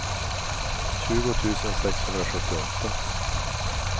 tjugo tusen sexhundrasjuttioåtta